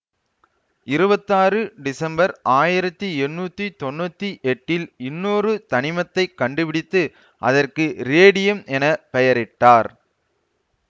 இருவத்தாறு December ஆயிரத்தி எண்ணூத்தி தொன்னூத்தி எட்டில் இன்னொரு தனிமத்தை கண்டுபிடித்து அதற்கு ரேடியம் என பெயரிட்டனர்